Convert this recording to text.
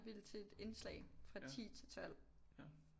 Ville til et indslag fra 10 til 12